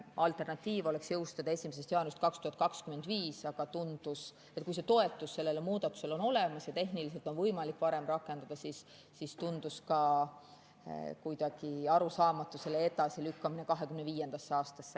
Alternatiiv oleks jõustada 1. jaanuarist 2025, aga kui toetus sellele muudatusele on olemas ja tehniliselt on võimalik varem rakendada, siis tundus kuidagi arusaamatu selle edasilükkamine 2025. aastasse.